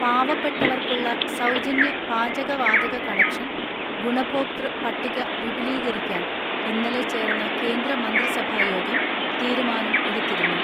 പാവപ്പെട്ടവർക്കുള്ള സൗജന്യ പാചകവാതക കണക്ഷൻ ഗുണഭോക്തൃ പട്ടിക വിപുലീകരിക്കാൻ ഇന്നലെ ചേർന്ന കേന്ദ്ര മന്ത്രിസഭാ യോഗം തീരുമാനം എടുത്തിരുന്നു.